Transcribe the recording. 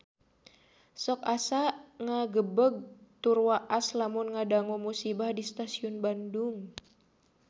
Sok asa ngagebeg tur waas lamun ngadangu musibah di Stasiun Bandung